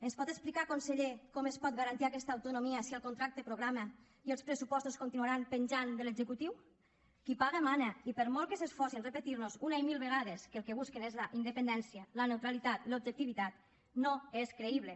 ens pot explicar conseller com es pot garantir aquesta autonomia si el contracte programa i els pressupostos continuaran penjant de l’executiu qui paga mana i per molt que s’esforci a repetir nos una i mil vegades que el que busquen és la independència la neutralitat l’objectivitat no és creïble